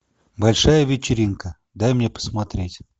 большая вечеринка дай мне посмотреть